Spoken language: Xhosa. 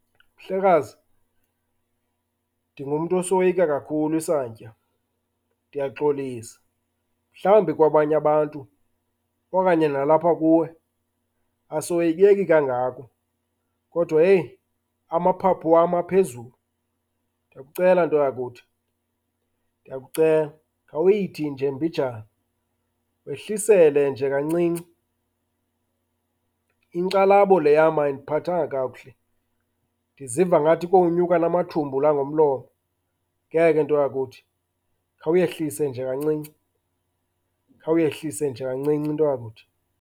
Mhlekazi, ndingumntu osoyika kakhulu isantya, ndiyaxolisa. Mhlawumbi kwabanye abantu okanye nalapha kuwe asoyikeki kangako, kodwa heyi amaphaphu wam aphezulu. Ndiyakucela nto yakuthi, ndiyakucela, khawuyithi nje imbijana wehlisele nje kancinci. Inkxalabo le yam ayindiphathanga kakuhle, ndiziva ngathi kowunyuka namathumbu la ngomlomo. Ngeke nto yakuthi, khawuyehlise nje kancinci. Khawuyehlise nje kancinci, nto yakuthi.